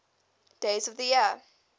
days of the year